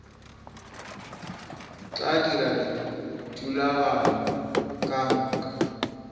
tla dira dithulaganyo ka moka